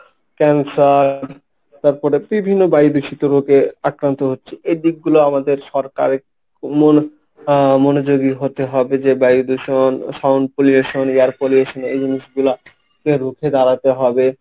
cancer তারপরে বিভিন্ন বায়ু দূষিত রোগে আক্রান্ত হচ্ছি এই দিকগুলো আমাদের সরকারের মন আহ মনোযোগী হতে হবে যে বায়ু দূষণ sound pollution, air pollution এই জিনিসগুলা কে রুখে দাঁড়াতে হবে।